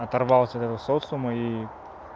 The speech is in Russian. оторвался от этого социума и